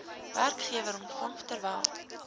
werkgewer ontvang terwyl